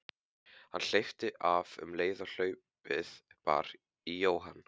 Hann hleypti af um leið og hlaupið bar í Jóhann.